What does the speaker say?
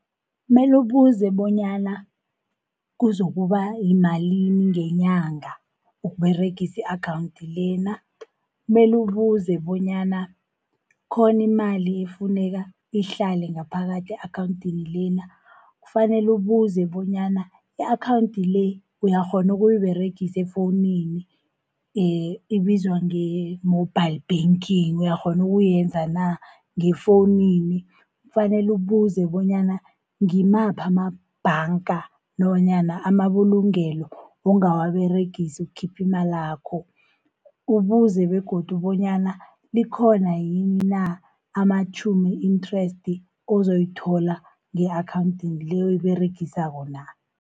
Meli ubuze bonyana kuzokuba yimalini ngenyanga, ukUberegisa i-akhawunti lena. Meli ubuze bonyana ikhona imali ekufuneka ihlale ngaphakathi e-akhawunthini lena. Fanele ubuze bonyana i-akhawunthi le, uyakghona ukuyiberegisa efowunini, ibizwa nge-mobile banking, uyakghona ukuyenza na, ngefowunini. Kufanele ubuze bonyana ngimaphi amabhanga nanyana amabulungelo ongawaberegisi ukukhipha imalakho. Ubuze begodu bonyana likhona yini na, amatjhumi i-interest ozoyithola nge-akhawunthini le, oyiberegisako na.